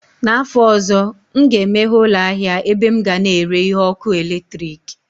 N'afọ ọzọ, m ga-emeghe ụlọ ahịa ebe m ga na-ere ihe ọkụ eletrik